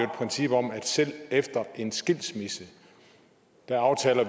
princip om at selv efter en skilsmisse aftaler